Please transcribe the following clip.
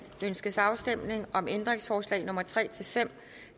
ønskes afstemning om ændringsforslag nummer tre fem